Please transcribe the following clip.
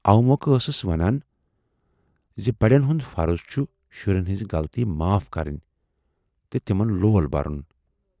اوٕ مۅکھٕ ٲسٕس ونان زِ بڈٮ۪ن ہُند فرض چُھ شُرٮ۪ن ہٕنزٕ غلطیہِ معاف کرٕنۍ تہٕ تِمن لول بَرُن۔